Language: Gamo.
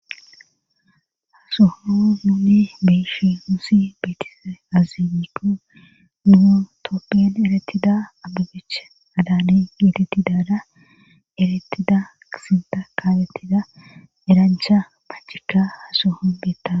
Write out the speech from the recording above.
ha sohozan beyishi nusi beetishe azimiko niotoppin eretida abagech adaani giititidaada erettida kisinta kaabetida eraancha macika hasohon beetta